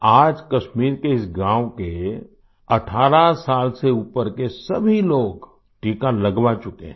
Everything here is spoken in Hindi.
आज कश्मीर के इस गाँव के 18 साल से ऊपर के सभी लोग टीका लगवा चुके हैं